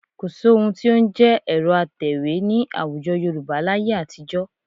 Kò sí ohun tí ó ń jẹ́ ẹ̀rọ atẹ̀wé ní àwùjọ Yorùbá láyé àtijọ́